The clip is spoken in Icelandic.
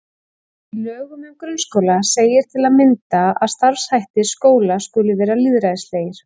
Í lögum um grunnskóla segir til að mynda að starfshættir skóla skuli vera lýðræðislegir.